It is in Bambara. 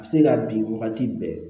A bɛ se ka bin wagati bɛɛ